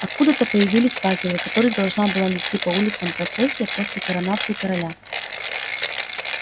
откуда-то появились факелы которые должна была нести по улицам процессия после коронации короля